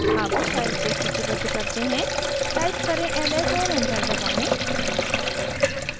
अब files को सूचीबद्ध करते हैं टाइप करें ls और enter दबाएँ